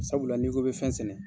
Sabula n'i ko bi fɛn sɛnɛ